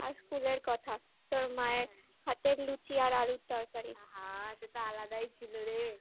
হ্যাঁ আর school এর কথা তোর মায়ের হাতের লুচি আর আলুর তরকারি আহা সেটা আলাদাই ছিল রে ই